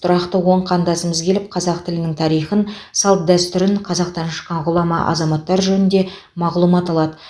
тұрақты он қандасымыз келіп қазақ тілінің тарихын салт дәстүрін қазақтан шыққан ғұлама азаматтар жөнінде мағлұмат алады